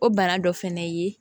O bana dɔ fɛnɛ ye